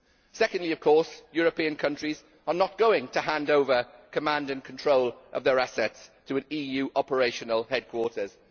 Secondly of course, European countries are not going to hand over command and control of their assets to an EU operational headquarters.